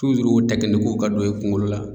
tuzuru o tɛkinikiw ka don e kungolo la